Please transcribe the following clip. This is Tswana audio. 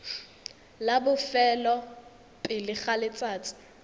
la bofelo pele ga letsatsi